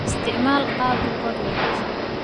Isticmaal qaab rikoodh wanaagsan.